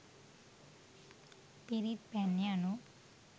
පිරිත් පැන් යනු